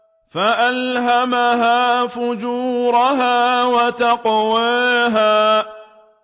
فَأَلْهَمَهَا فُجُورَهَا وَتَقْوَاهَا